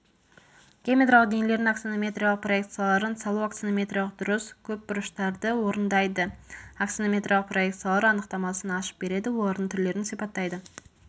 геометриялық денелердің аксонометриялық проекцияларын салу аксонометриялық дұрыс көпбұрыштарды орындайды аксонометриялық проекциялар анықтамасын ашып береді олардың түрлерін сипаттайды